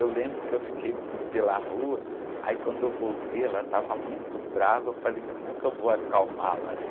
Eu lembro que eu fiquei pela rua, aí quando eu voltei, ela estava muito brava, eu falei, como é que eu vou acalmá-la?